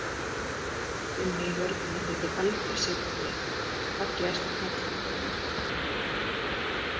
Gunni í vörninni þykir algjör sykurpúði Fallegasta knattspyrnukonan?